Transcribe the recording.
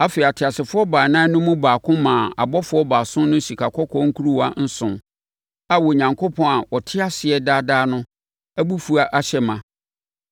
Afei, ateasefoɔ baanan no mu baako maa abɔfoɔ baason no sikakɔkɔɔ nkuruwa nson a Onyankopɔn a ɔte ase daa daa no abufuo ahyɛ no ma.